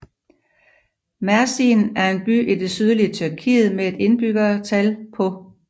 Mersin er en by i det sydlige Tyrkiet med et indbyggertal på